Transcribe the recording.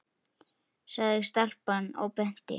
sagði stelpan og benti.